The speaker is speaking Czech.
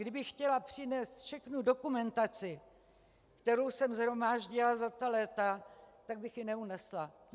Kdybych chtěla přinést všechnu dokumentaci, kterou jsem shromáždila za ta léta, tak bych ji neunesla.